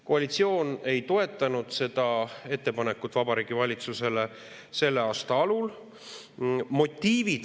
Koalitsioon ei toetanud seda ettepanekut Vabariigi Valitsusele selle aasta alul.